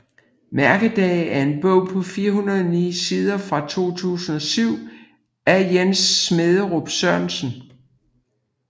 Mærkedage er en bog på 409 sider fra 2007 af Jens Smærup Sørensen